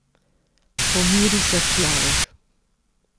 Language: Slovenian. Pomiri se človek.